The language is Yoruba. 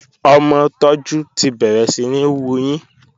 Ọmọ Tójú ti bẹ̀rẹ̀ síní wuyín